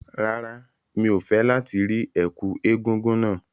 Rárá, mi ò fẹ́ láti rí ẹ̀kú egúngún náà.